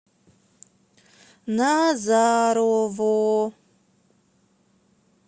назарово